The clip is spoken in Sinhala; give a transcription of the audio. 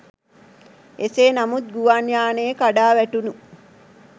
එසේ නමුත් ගුවන් යානයේ කඩා වැටුණු